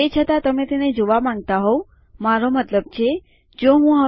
તે છતાં તમે તેને જોવા માંગતા હોવ મારો મતલબ જો હું માફ કરો હું ફરી કરીશ